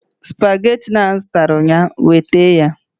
Supagetii m zụtara ụnyaahụ weta ya!